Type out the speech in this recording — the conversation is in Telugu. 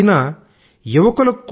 అయితే యువకులకు